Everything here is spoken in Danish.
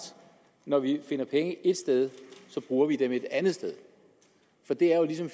når vi finder penge ét sted bruger vi dem et andet sted for det er jo ligesom